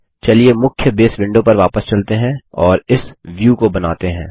ठीक हैमुख्य बसे विंडो पर वापस चलते हैं और इस व्यू को बनाते हैं